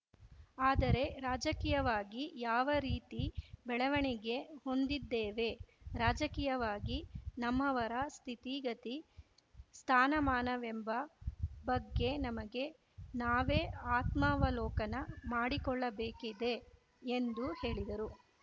ಆದರೆ ರಾಜಕೀಯವಾಗಿ ಯಾವ ರೀತಿ ಬೆಳವಣಿಗೆ ಹೊಂದಿದ್ದೇವೆ ರಾಜಕೀಯವಾಗಿ ನಮ್ಮವರ ಸ್ಥಿತಿಗತಿ ಸ್ಥಾನಮಾನವೆಂಬ ಬಗ್ಗೆ ನಮಗೆ ನಾವೇ ಆತ್ಮಾವಲೋಕನ ಮಾಡಿಕೊಳ್ಳಬೇಕಿದೆ ಎಂದು ಹೇಳಿದರು